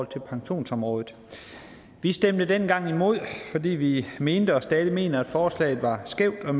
til pensionsområdet vi stemte dengang imod fordi vi mente og stadig mener at forslaget var skævt og